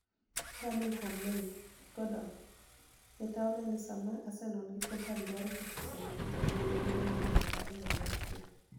(Birminigham Mail )Gordoni - Mita oni eni Saama Arsenial gi Fulham dwaro keto sei ni e jatugo ma ja hignii piero ariyo gi auchiel.